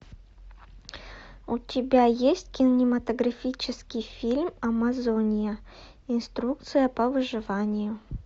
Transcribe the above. у тебя есть кинематографический фильм амазония инструкция по выживанию